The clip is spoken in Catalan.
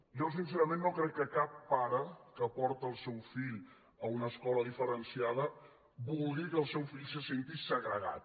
jo sincerament no crec que cap pare que porta el seu fill a una escola diferenciada vulgui que el seu fill se senti segregat